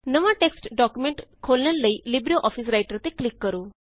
ਨਵਾਂ text document ਖੋਲਣ ਲਈ ਲਿਬਰਿਓਫਿਸ ਰਾਈਟਰ ਤੇ ਕਲਿਕ ਕਰੋ